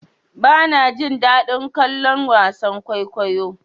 Bana jin daɗin kallon wasan kokawa.